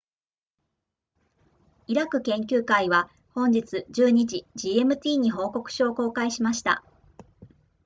イラク研究会は本日12時 gmt に報告書を公開しました